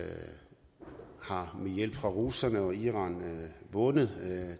har med hjælp fra russerne og iranerne vundet